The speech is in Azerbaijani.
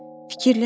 Fikirləş.